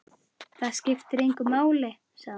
Það skiptir engu máli, sagði hún.